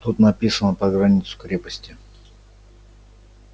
тут написано про границу крепости